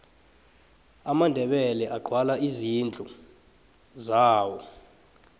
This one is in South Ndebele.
amandebele agwala izindlu zawo